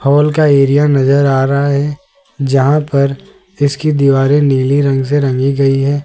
Hall का area नज़र आ रहा है जहां पर इसकी दीवारें नीली रंग से रंगी गई है।